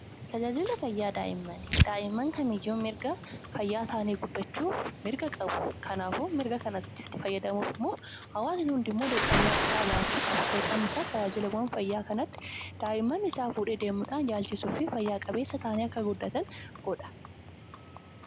Tajaajila fayyaa daa'immanii, daa'imman kamiyyuu mirga fayyaa ta'anii guddachuu qabu. Kanaafuu mirga kanatti fayyadamuuf hawaasni kamiyyuu dirqama mataa isaa bahuu qaba. Namoonni daa'imaan isaani gara giddugala fayyaa kanatti geessanii wal'aansisuun daa'imman isaanii akka fayyaan guddatan godha.